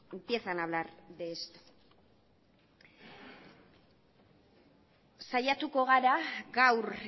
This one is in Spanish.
empiezan a hablar de esto saiatuko gara gaur